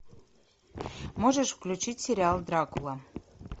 можешь включить сериал дракула